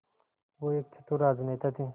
वो एक चतुर राजनेता थे